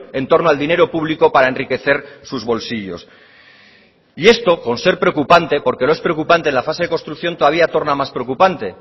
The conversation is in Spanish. en torno al dinero público para enriquecer sus bolsillos y esto con ser preocupante porque es preocupante en la fase de construcción todavía torna más preocupante